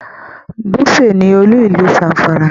Dutse ní olú ìlú Zamfara.